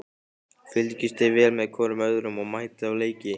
Fylgist þið vel með hvorum öðrum og mætið á leiki?